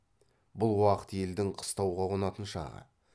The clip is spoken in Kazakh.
бұл уақыт елдің қыстауға қонатын шағы